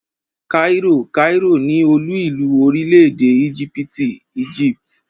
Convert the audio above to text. kairó (cairo) ni olú ìlú orílẹ̀-èdè íjíbítì ( Egypt).